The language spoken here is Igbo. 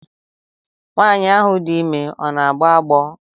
Nwaanyi ahụ dị ime ọ na-agbọ agbọ?